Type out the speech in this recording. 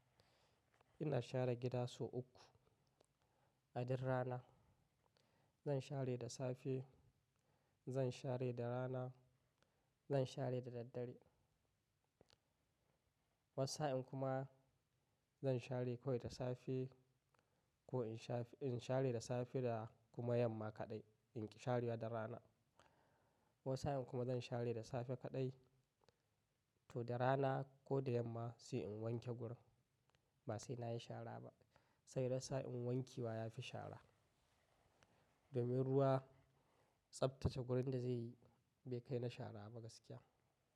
Ina share gida sau uku a duk rana. Zan share da safe, zan share da rana, zan share da daddare. Wasu sa in kuma zan share ko da safe, ko in sha in share da safe da kuma yamma kaɗai, in sha ruwa da rana. Wasu sa in kuma zan share da safe kaɗai to da rana ko da yamma sai in wanke gurin. Ba sai na yi shara ba, sai da sa'in wanke wa ya fi shara. Baban ruwa tsaftace gurin da zai yi bai kai na shara ba gaskiya.